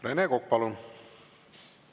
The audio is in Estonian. Rene Kokk, palun!